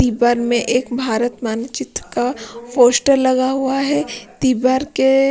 तीबर में एक भारत मानचित्र का पोस्टर लगा हुआ है तिबर के।